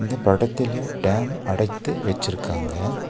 இந்தப் படத்துல டேம் அடைத்து வச்சுருக்காங்க.